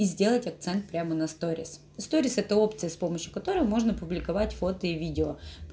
и сделать акцент прямо на сторис сторис это общество с помощью которой можно публиковать фото и видео